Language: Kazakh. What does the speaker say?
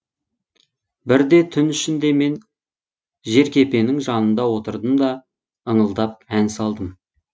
бірде түн ішінде мен жеркепенің жанында отырдым да ыңылдап ән салдым